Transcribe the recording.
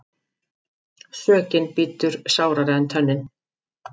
Sökin bítur sárara en tönnin.